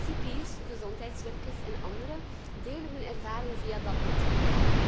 Cipiers, gezondheidswerkers en anderen delen hun ervaringen via dat netwerk.